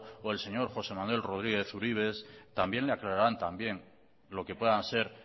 o el señor josé manuel rodríguez uribes también le aclararán también lo que puedan ser